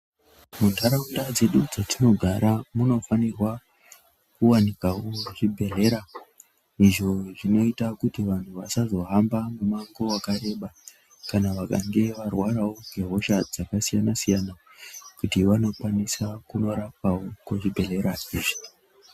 Muntaraunda dzedu dzetinogara munofanirwa kuwanikwawo zvibhedhlera izvo kuti vantu vasazohamba mumango wakareba kana vakange varwarawo ngehosha dzakasiyana -siyana kuti vanokwanisa korapwa kuzvibhedhlera izvi.